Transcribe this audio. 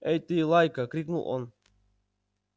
эй ты лайка крикнул он